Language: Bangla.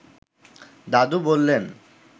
দাদু বললেন